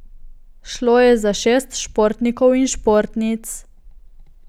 Šlo je za šest športnikov in športnic.